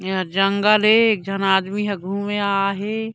ये हा जंगल ए एक झन आदमी ह घूमे आये हे।